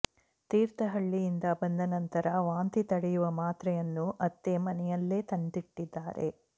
ತೀರ್ಥಹಳ್ಳಿಯಿಂದ ಬಂದ ನಂತರ ವಾಂತಿ ತಡೆಯುವ ಮಾತ್ರೆಯನ್ನು ಅತ್ತೆ ಮನೆಯಲ್ಲಿ ತಂದಿಟ್ಟಿದ್ದಾರೆ